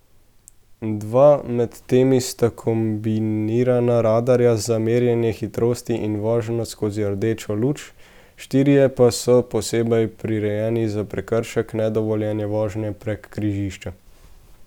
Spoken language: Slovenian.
Dva med temi sta kombinirana radarja za merjenje hitrosti in vožnjo skozi rdečo luč, štirje pa so posebej prirejeni za prekršek nedovoljene vožnje prek križišča.